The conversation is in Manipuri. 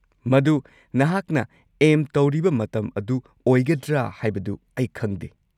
ꯃꯗꯨ ꯅꯍꯥꯛꯅ ꯑꯦꯝ ꯇꯧꯔꯤꯕ ꯃꯇꯝ ꯑꯗꯨ ꯑꯣꯏꯒꯗ꯭ꯔꯥ ꯍꯥꯏꯕꯗꯨ ꯑꯩ ꯈꯪꯗꯦ꯫